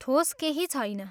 ठोस केही छैन।